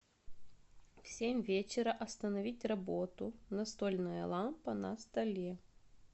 в семь вечера остановить работу настольная лампа на столе